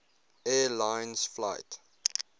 air lines flight